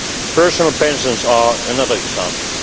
Personal pensions are another